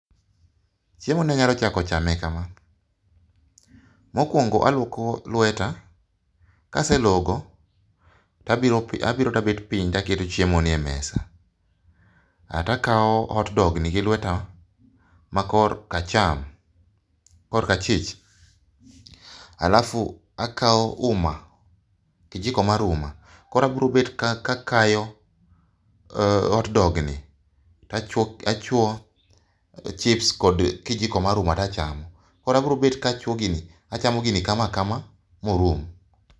Chiemoni anyalo chako chame kama. Mokuongo aluoko lweta, kaselogo tabiro to abet piny to aketo chiemoni e mesa. To akawo hot dogni gilweta makorka cham, korka chich, alafu akawo uma, kijiko mar uma. Koro abiro bet kakayo hotdogni to achuoyo chips kod kijiko mar umani to achamo. Koro abiro bet ka achuo gini achamo gini kama kama ma orum.